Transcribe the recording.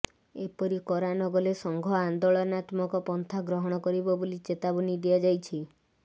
ଏପରି କରା ନ ଗଲେ ସଂଘ ଆନ୍ଦୋଳନାତ୍ମକ ପନ୍ଥା ଗ୍ରହଣ କରିବ ବୋଲି ଚେତାବନୀ ଦିଆଯାଇଛି